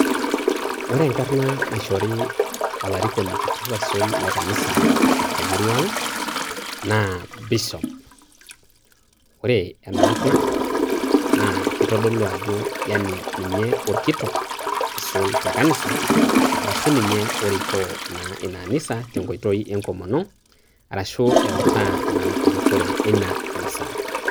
Ore enkarna naishori olarikoni kitok sisul le kanisa temurua ang',naa Bishop. Ore enarna, na kitodolu ajo yani ninye orkitok aisul tekanisa, arashu ninye orikoo naa ina anisa tenkoitoi enkomono, arashu eutaa erikore eina anisa.